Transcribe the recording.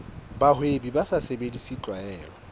bahwebi ba sa sebedise tlwaelo